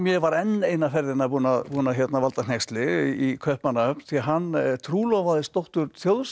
var enn eina ferðina búinn að búinn að valda hneyksli í Kaupmannahöfn því hann trúlofaðist dóttur